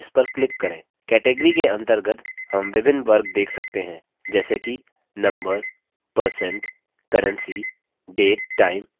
category के अंतर्गत हम विभिन्न वर्ग date सकते हैं जैसे कि number percent currency date time इत्यादि